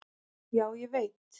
"""Já, ég veit"""